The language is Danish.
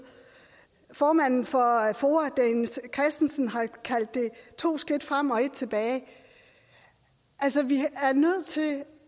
formanden for foa dennis kristensen har kaldt det to skridt frem og ét tilbage altså vi er nødt til